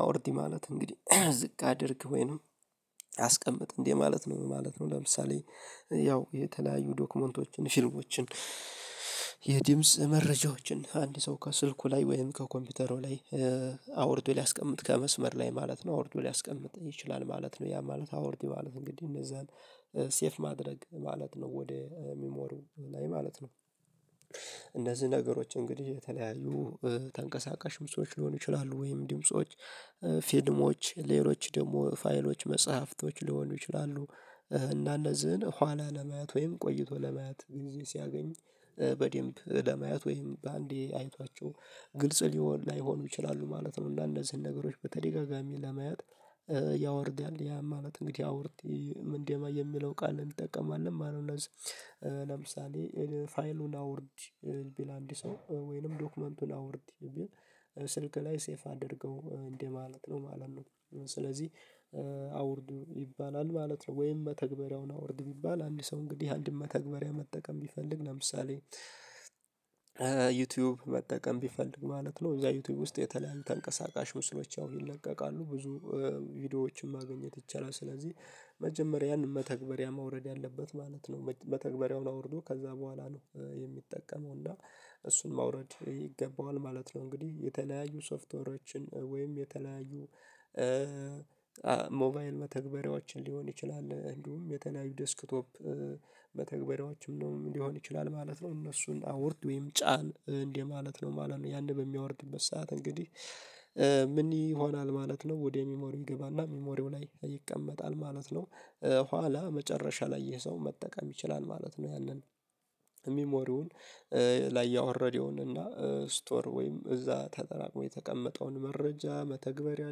አውርድ ማለት እንግዲህ ዝቅ አድርግ ወይንም አስቀምጥ እንደ ማለት ነው ማለት ነው ለምሳሌ ያው የተለያዩ ዶክመንቶችን ፊርማወችን የድምጽ መረጃዎችን አንድ ሰው ከስልኩ ላይ ወይም ከኮምፒውተሩ ላይ አውርዶ ሊያስቀምጥ ከመስመር ላይ ማለት ነው አውርዶ ሊያስቀምጥ ይችላል ማለት ነው ያ ማለት አውርድ ማለት እንግዲህ እነዛን ሴቭ ማድረግ ማለት ነው ወደ ሚሞሪው ላይ ማለት ነው። እነዚህ ነገሮች እንግዲህ የተለያዩ ተንቀሳቃሽ ምስሎች ሊሆኑ ይችላሉ ወይም ድምጾች ፊልሞች ሌሎች ደግሞ ፋይሎች መጽሐፍቶች ሊሆኑ ይችላሉ እና እነዚህን ኋላ ለማየት ወይም ቆይቶ ለማየት ጊዜ ሲያገኝ በደንብ ለማየት ወይም በአንዴ አይቷቸው ግልጽ ሊሆን ላይሆኑ ይችላሉ ማለት ነው። እና እንነዚህን ነገሮች በተደጋጋሚ ለመያዝ ያወርዳል ያ ማለት እንግዲህ አውርድ ምንድነው የሚለው ቃል እንጠቀማለን ማለት ነው። እነዚህ ለምሳሌ ፋይሉን አውርድ ቢል አንድ ሰው ወይንም ዶክመንቱን አውርድ ቢል ስልክ ላይ ሴቭ አድርገው እንደ ማለት ነው ማለት ነው። ስለዚህ አውርድ ይባላል ማለት ነው። ወይም መተግበሪያውን አውርድ ቢባል አንድ ሰው እንግዲህ አንድ መተግበሪያ መጠቀም ቢፈልግ ለምሳሌ ዩቲዩብ መጠቀም ቢፈልግ ማለት ነው እዛ ዩቲዩብ ውስጥ የተለያዩ ተንቀሳቃሽ ምስሎች ያው ይለቀቃሉ ብዙ ቪዲዮዎችን ማግኘት ይቻላል። ስለዚህ መጀመሪያን መተግበሪያ ማውረድ ያለበት ማለት ነው መተግበሪያውን አውርዶ ከዛ በኋላ ነው የሚጠቀመው እና እሱን ማውረድ ይገባዋል ማለት ነው። እንግዲህ የተለያዩ ሶፍትዌሮችን ወይም የተለያዩ ሞባይል መተግበሪያዎችን ሊሆን ይችላል እንዲሁም የተለያዩ ዴስክቶፕ መተግበሪያዎችም ነው ሊሆን ይችላል ማለት ነው። እነሱን አውርድ ወይም ጫን እንደ ማለት ነው ማለት ነው። ያንን በሚያወርድበት ሰዓት እንግዲህ ምን ይሆናል ማለት ነው? ወደ ሚሞሪው ይገባና ሚሞሪው ላይ ይቀመጣል ማለት ነው። ኋላ መጨረሻ ላይ የሰው መጠቀም ይችላል ማለት ነው። ያንን ሚሞሪውን ላይ ያወረደውን እና ስቶር ወይም እዛ ተጠራቅሞ የተቀመጠውን መረጃ መተግበሪያ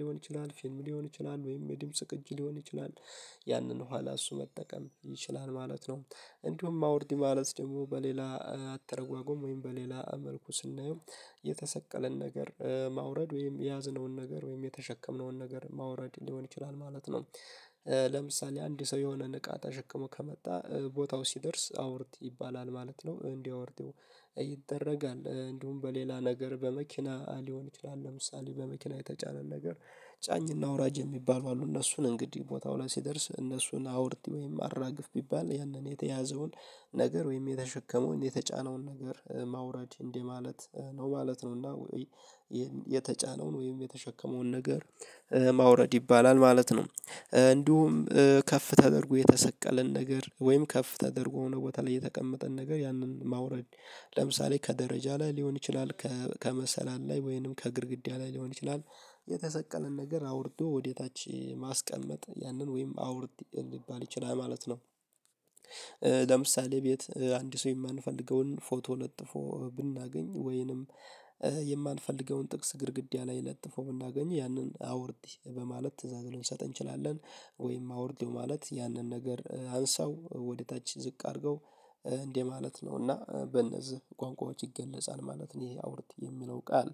ሊሆን ይችላል ፊልም ሊሆን ይችላል ወይም የድምጽ ቅጂ ሊሆን ይችላል ያንን ኋላ እሱ መጠቀም ይችላል ማለት ነው። እንዲሁም አውርድ ማለት ደግሞ በሌላ አተረጓጎም ወይም በሌላ መልኩ ስናየው የተሰቀለን ነገር ማውረድ ወይም የያዝነውን ነገር ወይም የተሸከምነውን ነገር ማውረድ ሊሆን ይችላል ማለት ነው። ለምሳሌ አንድ ሰው የሆነን እቃ ተሸክሞ ከመጣ ቦታው ሲደርስ አውርት ይባላል ማለት ነው። እንዲህ አወርደው ይደረጋል እንዲሁም በሌላ ነገር በመኪና ሊሆን ይችላል ለምሳሌ በመኪና የተጫነ ነገር ጫኝና አውራጅ የሚባሉ አሉ እነሱን እንግዲህ ቦታው ላይ ሲደርስ እነሱን አውርድ ወይም አራግፍ ቢባል ያንን የተያዘውን ነገር ወይም የተሸከመውን የተጫነውን ነገር ማውራድ እንደ ማለት ነው ማለት ነው። እና የተጫነውን ወይም የተሸከመውን ነገር ማውረድ ይባላል ማለት ነው። እንዲሁም ከፍ ተደርጎ የተሰቀለን ነገር ወይም ከፍ ተደርጎ ሆኖ ቦታ ላይ የተቀመጠን ነገር ያንን ማውረድ ለምሳሌ ከደረጃ ላይ ሊሆን ይችላል ከመሰላል ላይ ወይንም ከግድግዳ ላይ ሊሆን ይችላል የተሰቀለን ነገር አውርዶ ወደ ታች ማስቀመጥ ያንን ወይም አውርድ ሊባል ይችላል ማለት ነው። ለምሳሌ ቤት አንድ ሰው የማንፈልገውን ፎቶ ለጥፎ ብናገኝ ወይንም የማንፈልገውን ጥቅስ ግድግዳ ላይ ለጥፎ ብናገኝ ያንን አውርድ በማለት ትእዛዝ ልንሰጥ እንችላለን። ወይም አውርዴው ማለት ያንን ነገር አንሳው ወደ ታች ዝቅ አድርገው እንደ ማለት ነው እና በእነዚህ ቋንቋዎች ይገለጻል ማለት ነው። ይሄ አውርድ የሚለው ቃል